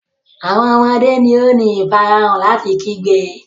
Awọn ọmọde ni o ni ifarahan lati kigbe.